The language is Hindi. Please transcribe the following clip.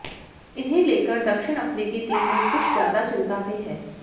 इन्हें लेकर दक्षिण अफ्रीकी टीम में कुछ ज्यादा चिंता भी है